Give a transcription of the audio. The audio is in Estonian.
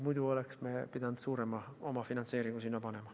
Muidu oleks me pidanud omafinantseeringut suurendama.